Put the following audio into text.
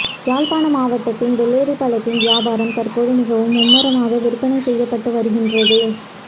யாழ்ப்பாண மாவட்டத்தின் வெள்ளாரிப்பழத்தின் வியாபாரம் தற்போது மிகவும் மும்முரமாக விற்பனை செய்யப்பட்டுவருகின்றது